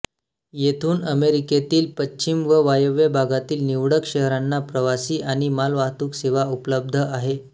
येथून अमेरिकेतील पश्चिम व वायव्य भागातील निवडक शहरांना प्रवासी आणि मालवाहतूक सेवा उपलब्ध आहे